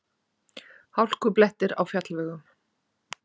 Hálkublettir á fjallvegum